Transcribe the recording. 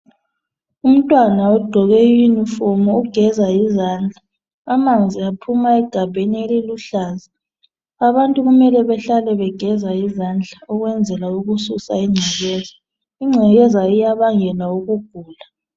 Umntwana ugqoke uniform ugeza izandla. Amanzi aphuma egabheni eliluhlaza. Abantu kumele behlale begeza izandla ukwenzela ukususa ungcekeza. Ingcekeza iyabangela ukugula.